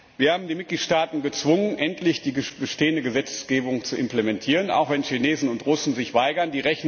Wir haben die Mitgliedstaaten gezwungen, endlich die bestehende Gesetzgebung zu implementieren, auch wenn Chinesen und Russen sich weigern.